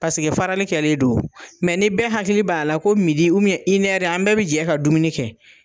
Paseke farali kɛlen don . ni bɛɛ hakili b'a la ko midi an bɛɛ be jɛ ka dumuni kɛ